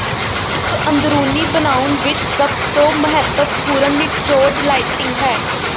ਇੱਕ ਅੰਦਰੂਨੀ ਬਣਾਉਣ ਵਿੱਚ ਸਭ ਤੋਂ ਮਹੱਤਵਪੂਰਨ ਨਿਚੋੜ ਲਾਈਟਿੰਗ ਹੈ